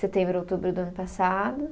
Setembro, outubro do ano passado.